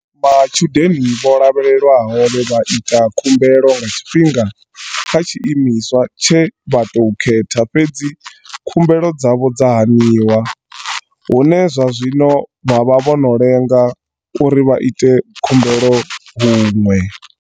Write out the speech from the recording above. Matshudeni vho lavhelelwaho vhe vha ita khumbelo nga tshifhinga kha tshi imiswa tshe vha tou khetha fhedzi khumbelo dzavho dza haniwa, hune zwa zwino vha vha vho no lenga uri vha ite khumbelo huṅwe.